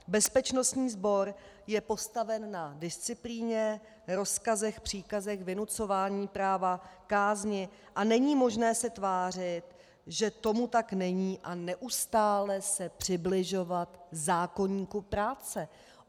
Bezpečnostní sbor je postaven na disciplíně, rozkazech, příkazech, vynucování práva, kázni a není možné se tvářit, že tomu tak není, a neustále se přibližovat zákoníku práce.